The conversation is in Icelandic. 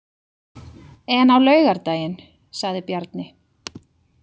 En á laugardaginn, sagði Bjarni.